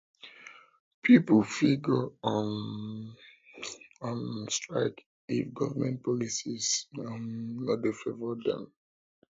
um pipo fit go on um strike if government policies um no de favour dem